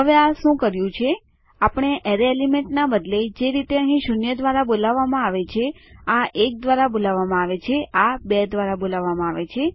હવે આ શું કર્યું આપણા એરેય એલિમેન્ટના બદલે જે રીતે અહીં શૂન્ય દ્વારા બોલવામાં આવે છે આ એક દ્વારા બોલવામાં આવે છે આ બે દ્વારા બોલવામાં આવે છે